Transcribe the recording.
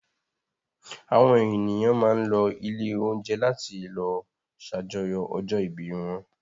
Àwọn ènìyàn máa ń lọ ilé-oúnjẹ láti lọ ṣàjọyọ̀ ọjọ́-ìbí wọn.